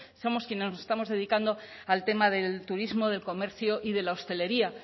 somos quienes nos estamos dedicando al tema del turismo del comercio y de la hostelería